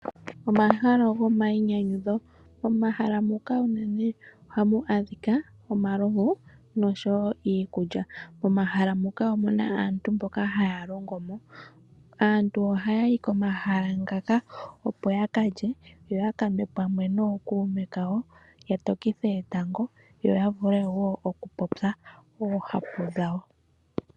Omahala gomayinyanyudho, momahala muka uunene ohamu adhika omalovu noshowo iikulya. Momahala muka omu na aantu mboka haya longo mo. Aantu ohaya yi komahala ngaka opo yakalye yo yaka nwe pamwe nookume kawo ya tokithe etango yo ya vule woo okupopya oohapu dhawo.